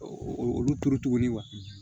Olu tora tuguni